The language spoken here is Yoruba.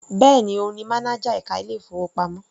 Bẹ́ẹ̀ni, òun ni mánájà ẹka ilé ìfowópamọ́.